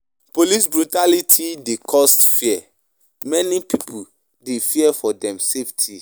Police brutality dey cause fear; many pipo dey fear for dem safety.